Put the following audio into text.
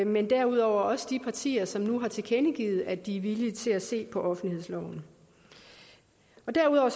men derudover også de partier som nu har tilkendegivet at de er villige til at se på offentlighedsloven derudover